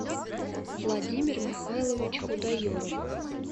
владимир михайлович худаеров